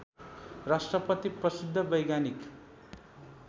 राष्ट्रपति प्रसिद्ध वैज्ञानिक